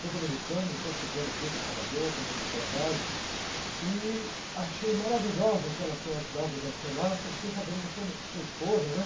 Sou dominicano, estou chegando aqui para Salvador, fazendo um trabalho, e achei maravilhosa aquela senhora que estava dançando lá, fiquei sabendo que é sua mu, é sua esposa, né?